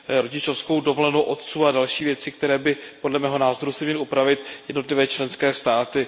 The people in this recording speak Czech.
rodičovskou dovolenou otců a další věci, které by, podle mého názoru, si měly upravit jednotlivé členské státy.